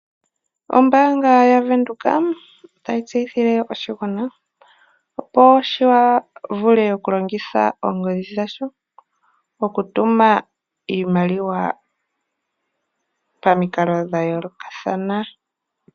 Ombaanga yaVenduka otayi tseyithile oshigwana opo shi vule oku longitha oongodhi dhasho okutuma iimaliwa pamikalo dha yoolokathana.